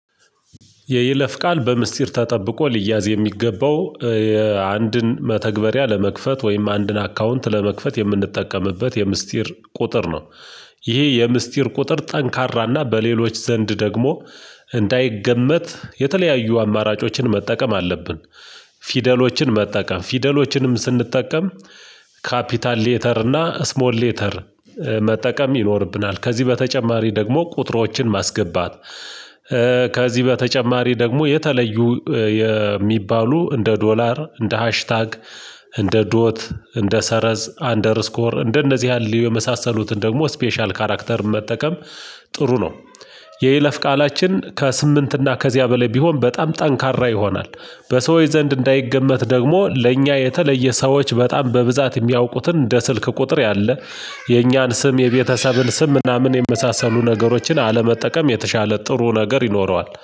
የይለፍ ቃል በምስጢር ተጠብቆ ሊያዝ የሚገባው የአንድን መተግበሪያ ለመክፈት ወይም አንድን አካውንት ለመክፈት የምንጠቀምበት የምስጢር ቁጥር ነው። ይሄ የምስጢር ቁጥር ጠንካራና በሌሎች ዘንድ ደግሞ እንዳይገመት የተለያዩ አማራጮችን መጠቀም አለብን። ፊደሎችን መጠቀም ፊደሎችንም ስንጠቀም ካፒታል ሌተር እና ስሞል ሌተር መጠቀም ይኖርብናል። ከዚህ በተጨማሪ ደግሞ ቁጥሮችን ማስገባት። ከዚህ በተጨማሪ ደግሞ የተለዩ የሚባሉ እንደ ዶላር፣ እንደ ሃሽታግ፣ እንደ ዶት፣ እንደ ሰረዝ፣ አንደርስኮር እንደነዚህ ያህል የመሳሰሉትን ደግሞ ስፔሻል ካራክተር መጠቀም ጥሩ ነው። የይለፍ ቃላችን ከስምንት እና ከዚያ በላይ ቢሆን በጣም ጠንካራ ይሆናል። በሰዎች ዘንድ እንዳይገመት ደግሞ ለእኛ የተለየ ሰዎች በጣም በብዛት የሚያውቁትን እንደ ስልክ ቁጥር ያለ የእኛን ስም የቤተሰብን ስም ምናምን የመሳሰሉ ነገሮችን አለመጠቀም የተሻለ ጥሩ ነገር ይኖረዋል።